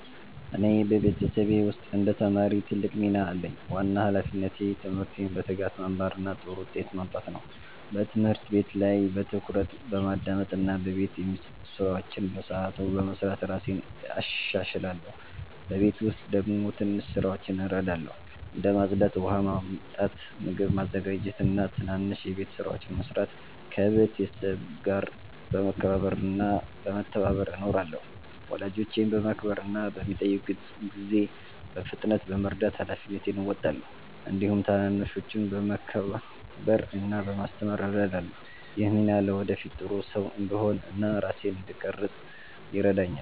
እኔ በቤተሰቤ ውስጥ እንደ ተማሪ ትልቅ ሚና አለኝ። ዋና ሃላፊነቴ ትምህርቴን በትጋት መማር እና ጥሩ ውጤት ማምጣት ነው። በትምህርት ቤት ላይ በትኩረት በማዳመጥ እና በቤት የሚሰጡ ስራዎችን በሰዓቱ በመስራት እራሴን እሻሻላለሁ። በቤት ውስጥ ደግሞ ትንሽ ስራዎችን እረዳለሁ፣ እንደ ማጽዳት፣ ውሃ ማመጣት፣ ምግብ ማዘጋጀት እና ትናንሽ የቤት ስራዎችን መስራት። ከቤተሰቤ ጋር በመከባበር እና በመተባበር እኖራለሁ። ወላጆቼን በማክበር እና በሚጠይቁት ጊዜ በፍጥነት በመርዳት ሃላፊነቴን እወጣለሁ። እንዲሁም ታናናሾችን በመከባበር እና በማስተማር እረዳለሁ። ይህ ሚና ለወደፊት ጥሩ ሰው እንድሆን እና ራሴን እንድቀርፅ ይረዳኛል።